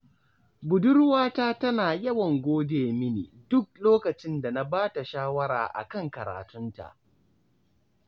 Budurwata tana yawan gode mini duk lokacin da na ba ta shawara a kan karatunta